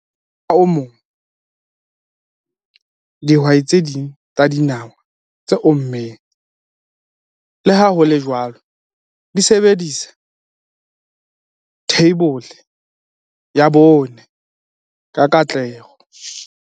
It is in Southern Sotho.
Mokgwa o mong, dihwai tse ding tsa dinawa tse ommeng, le ha ho le jwalo, di sebedisa Rhizobium leguminosarum, theibole ya 4, ka katleho.